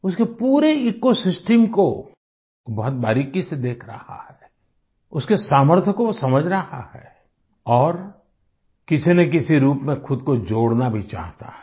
उसके पूरे ecosystem को बहुत बारीकी से देख रहा है उसके सामर्थ्य को समझ रहा है और किसी न किसी रूप में खुद को जोड़ना भी चाहता है